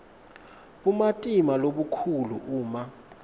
bumatima lobukhulu uma